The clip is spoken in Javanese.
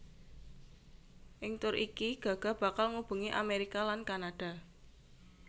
Ing tur iki Gaga bakal ngubengi Amerika lan Kanada